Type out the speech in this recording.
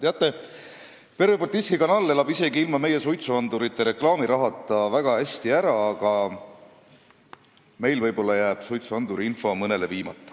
Teate, Pervõi Baltiiski Kanal elab ka ilma meie suitsuandurireklaami rahata väga hästi ära, aga võib-olla jääks meil siis suitsuanduriinfo mõne inimeseni viimata.